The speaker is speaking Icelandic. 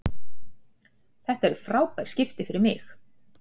Þetta eru frábær skipti fyrir mig.